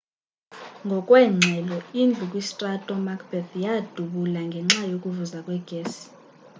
ngokweengxelo indlu kwistrato macbeth yadubula ngenxa yokuvuza kwegesi